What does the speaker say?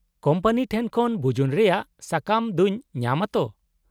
-Company ᱴᱷᱮᱱ ᱠᱷᱚᱱ ᱵᱩᱡᱩᱱ ᱨᱮᱭᱟᱜ ᱥᱟᱠᱟᱢ ᱫᱚᱧ ᱧᱟᱢᱼᱟ ᱛᱚ ?